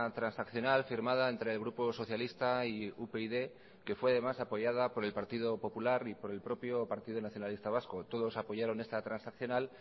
transaccional firmada entre el grupo socialista y upyd que fue además apoyada por el partido popular y por el propio partido nacionalista vasco todos apoyaron esta transaccional